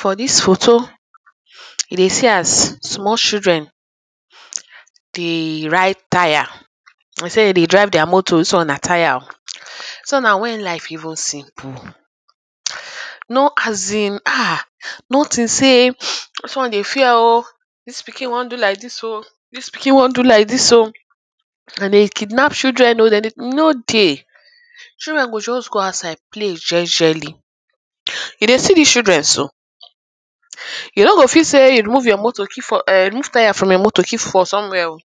For dis photo urh you dey see am, small children urh dey ride tyre. De say dem dey drive their motor, dis one na tyre oh. So na when life even simple. Erm work as in ha, nothing say dis one dey fear oh. Dis pikin wan do like dis oh. Dis pikin wan do like dis oh. Dem dey kidnap children oh. Dem de e no dey. Children go just go outside play jejely. Urh you dey see dis children so er you o go fit say you remove your motor keep for er remove tyre for your motor keep for somewhere oh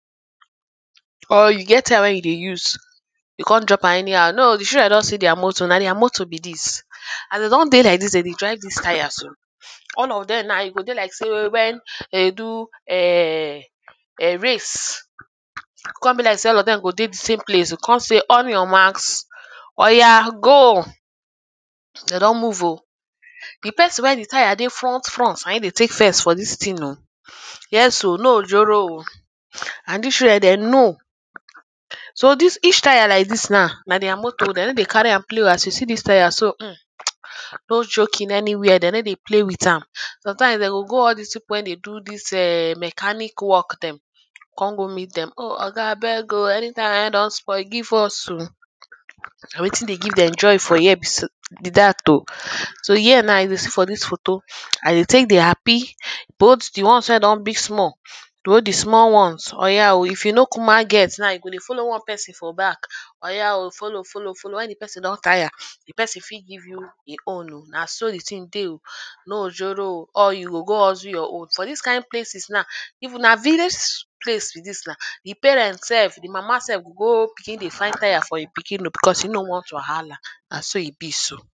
or you get tyre wey you dey use you con drop am anyhow, no oh. The children don see their motor be dis. As e don dey like dis, de dey drive dis tyre so all of dem now, e go dey like sey when de dey do ern ern race. Con be like say all of dem go dey the same place. Con say on your marks, oya go. Dem don move oh. The person wey the tyre dey front front, na im dey take first for dis thing oh. Yes oh, no ojoro oh and dis children de know. So dis each tyre now like dis now, na their motor. De no dey carry am play oh. As you see dis tyre so erm no joking anywhere. De no dey play with am. Sometime, de go go all dis people wey dey do dis erm mechanic work dem. Con go meet dem. Oh oga abeg oh, any tyre wey don spoil give us oh. Na wetin dey give dem joy for here be say be dat oh. So here now you go see for dis photo, as dem take dey happy both the ones wey don big small. urh Though the small ones, oya oh, if you no cuma get now, you go dey follow one person for back. Oya oh follow follow follow, when the person don tyre, the person fit give you e own oh. Na so the thing dey oh. No ojoro oh. All you go go hustle your own. For dis kind places now, if na village place be dis now, the parent self, the mama self go go begin dey find tyre for e pikin because e no want wahala. Na so e be.